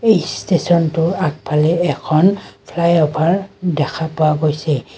এই ষ্টেচনটোৰ আগফালে এখন ফ্লাই-অভাৰ্ দেখা পোৱা গৈছে।